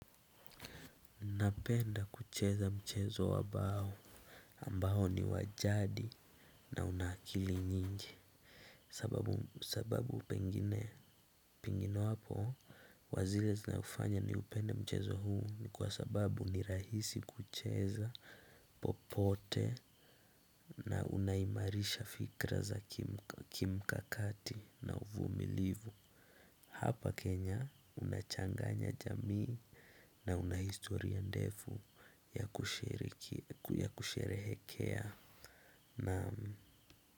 Napenda kucheza mchezo wa bao, ambao ni wa jadi na unaakili nyingi. Sababu pengine wapo kwa zile hufanya nipende mchezo huu ni kwa sababu ni rahisi kucheza popote, na unaimarisha fikra za kimkakati na uvumilivu. Hapa Kenya, unachanganya jamii na una historia ndefu ya kusherehekea. Naam.